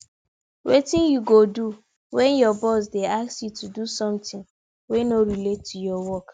wetin you go do when your boss dey ask you to do someting wey no relate to your work